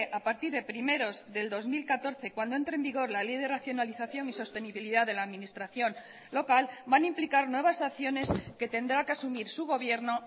a partir de primeros del dos mil catorce cuando entre en vigor la ley de racionalización y sostenibilidad de la administración local van a implicar nuevas acciones que tendrá que asumir su gobierno